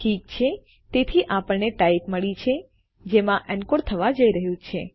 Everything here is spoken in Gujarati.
ઠીક છે તેથી આપણને ટાઇપ મળ્યી છે જેમાં એનકોડ થવા જઈ રહ્યું છે